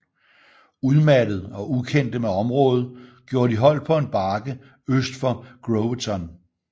Udmattede og ukendte med området gjorde de holdt på en bakke øst for Groveton